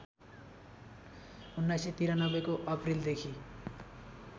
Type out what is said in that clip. १९९३ को अप्रिलदेखि